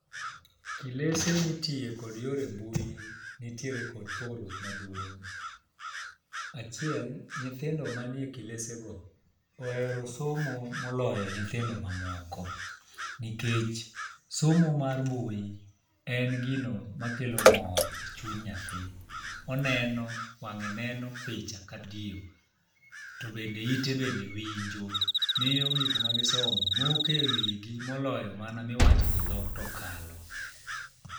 Kilese mitiye kod yore mbui nitiere kod pogruok maduong'. Achiel , nyithindo manie kilese go ohero somo moloyo nyithindo mamoko nikech, somo mar mbui en gino makelo mor e chuny nyathi. Oneno wange neno picha . To bende ite bende winjo miyo gik ma gisomo moke wigi moloyo mana ma giloso gi dhok tokalo.